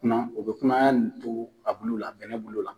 O be kunaya in to a bulu la, bulu la.